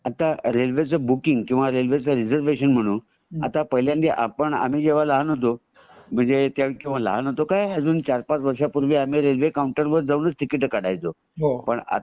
आता रेल्वे च बूकिंग किंवा रेल्वे च रीझरवेशन म्हणू आता पाहिल्यानदी आपण आम्ही जेव्हा लहान होतो म्हणजे अजून लहान होतो काय चार पाच वर्षापूर्वी रेल्वे आम्ही काऊंटर वर्च जाऊन टिकिट काढायचो पण आता